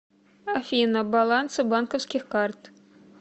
афина балансы банковских карт